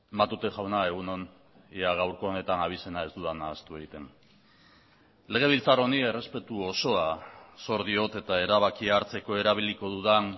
matute jauna egun on ia gaurko honetan abizena ez dudan nahastu egiten legebiltzar honi errespetu osoa zor diot eta erabakia hartzeko erabiliko dudan